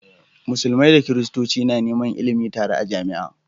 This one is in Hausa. Musulmai da christoci na Neman ilimin tare a jamia